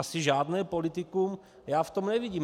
Asi žádné politikum já v tom nevidím.